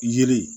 Yiri